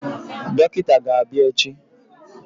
Dọkịta ga-abịa echi.